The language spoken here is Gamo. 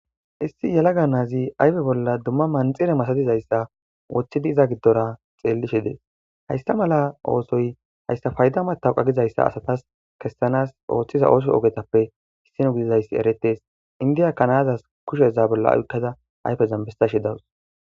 issi yalaga naazi ayfe bolla dumma manxire masadizayssa woththidi iza giddora xeellishe dees haysta mala oosoy haysta fayda matawqa gizayssa asatas kessanas ooththiza ooso ogetappe hissino gidizayssi eretees indiya kanaazas kushe za bolla uykkada ayfe zambestashi dawus